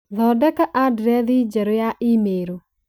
Thondeka andirethi njerũ ya i-mīrū